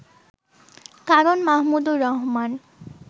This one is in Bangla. কারণ মাহমুদুর রহমান